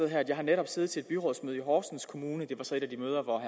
her jeg har netop siddet til et byrådsmøde i horsens kommune det var så et af de møder hvor